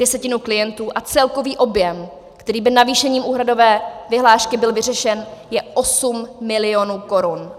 desetinu klientů a celkový objem, který by navýšením úhradové vyhlášky byl vyřešen, je 8 milionů korun.